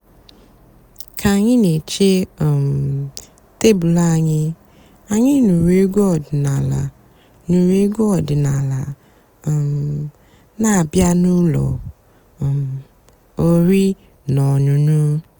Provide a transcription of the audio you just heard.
kà ànyị́ nà-èché um tèbụ́lù ànyị́ ànyị́ nụ́rụ́ ègwú ọ̀dị́náàlà nụ́rụ́ ègwú ọ̀dị́náàlà um nà-àbịá n'ụ́lọ́ um ọ̀rí nà ọ̀ṅụ́ṅụ́.